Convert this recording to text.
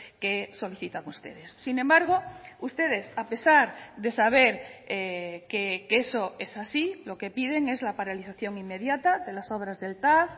que solicitan ustedes sin embargo ustedes a pesar de saber que eso es así lo que piden es la paralización inmediata de las obras del tav